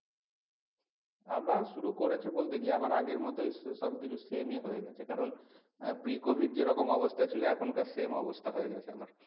আবার শুরু করেছে বলতে কি আবার আগের মতোই সব কিছু same ই হয়ে গেছে কারণ আহ p covid যেরকম অবস্থায় ছিল এখনকার same অবস্থা হয়ে গেছে।